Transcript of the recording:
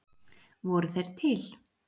Voru þeir til?